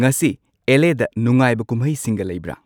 ꯉꯁꯤ ꯑꯦꯂ.ꯑꯦ.ꯗ ꯅꯨꯉꯥꯏꯕ ꯀꯨꯝꯍꯩꯁꯤꯡꯒ ꯂꯩꯕ꯭ꯔ